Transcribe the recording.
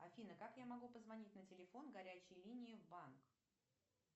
афина как я могу позвонить на телефон горячей линии в банк